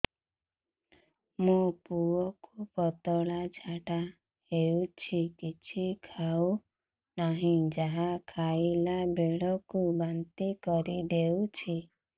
ମୋ ପୁଅ କୁ ପତଳା ଝାଡ଼ା ହେଉଛି କିଛି ଖାଉ ନାହିଁ ଯାହା ଖାଇଲାବେଳକୁ ବାନ୍ତି କରି ଦେଉଛି